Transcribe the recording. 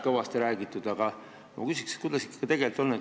Kuidas sellega ikkagi tegelikult on?